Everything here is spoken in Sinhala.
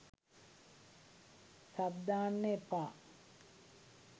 සබ් දාන්න එපා